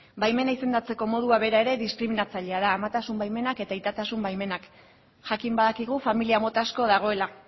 baimena izendatzeko modua bera ere diskriminatzailea da amatasun baimenak eta aitatasun baimenak jakin badakigu familia mota asko dagoela